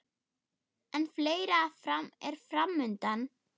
En fleira er fram undan.